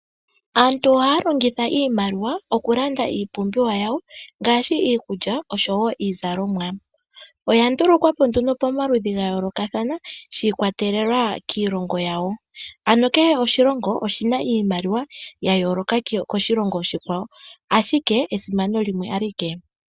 Aantu ohaa longitha iimaliwa oku landa iipumbiwa yawo ngaashi iikulya niizalomwa. Oya ndulukwa po nduno pomaludhi ga yoolokathana shi ikwatelela kiilongo yawo onkene kehe oshilongo oshi na iimaliwa ya yooloka koshilongo oshikwawo ashike esimano limwe awike.